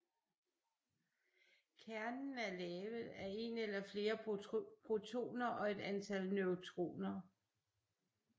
Kernen er lavet af en eller flere protoner og et antal neutroner